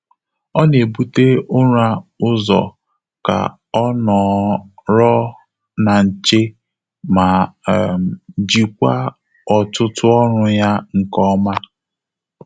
Ọ́ nà-ébùté ụ́rà ụ́zọ́ kà ọ́ nọ́rọ́ ná nché mà um jíkwáá ọ́tụ́tụ́ ọ́rụ́ yá nké ọ́mà.